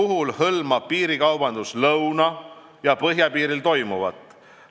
Alkoholi piirikaubandus hõlmab lõuna- ja põhjapiiril toimuvat.